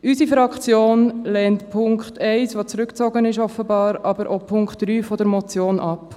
Unsere Fraktion lehnt den Punkt 1, der offenbar zurückgezogen wurde, aber auch den Punkt 3 der Motion ab.